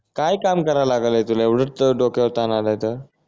काय काम करायला लागलेय तुला एवढ्यच त डोक्यावर ताण आलाय तर